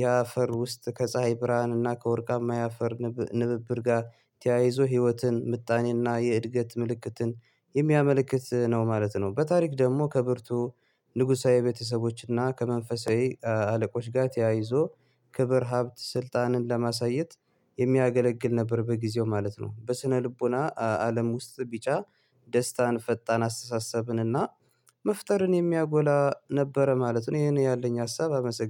የአፈር ውስጥ ከፀሀይ ብርሃንና ከወርቃማ የአፈር ንብብር ጋር ተያይዞ ህይወትን ምጣኔና የእድገት ምልክትን የሚያመለክት ነው ማለት ነው። በታሪክ ደግሞ ከብርቱ ንጉሳዊ ቤተሰቦችና ከመንፈሳዊ አለቆች ጋር ተያይዞ ክብር ሀብት ስልጣንን ለማሳየት የሚያገለግል ነበር በጊዜው ማለት ነው። በስነልቦና አለም ውስጥ ቢጫ ደስታን ፈጣን አስተሳሰብንና መፍጠርን የሚያጎላ ነበረ ማለት ነው። ይሄን ያለኝ ሀሳብ አመሰግ